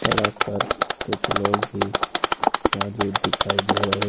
सड़क पर कुछ लोग भी मौजूद दिखाई दे रहे--